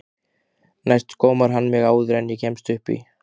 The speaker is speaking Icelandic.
Næst gómar hann mig áður en ég kemst upp í.